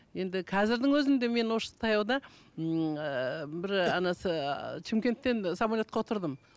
енді қазірдің өзінде мен осы таяуда ммм ыыы бір шымкенттен самолетқа отырдым